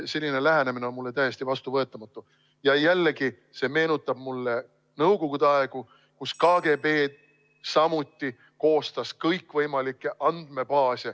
Selline lähenemine on mulle täiesti vastuvõetamatu ja jällegi see meenutab mulle Nõukogude aega, kus KGB samuti koostas kõikvõimalikke andmebaase.